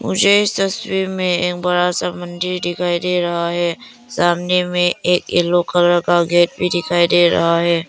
मुझे तस्वीर में एक बड़ा सा मंदिर दिखाई दे रहा है सामने में एक येलो कलर का गेट भी दिखाई दे रहा है।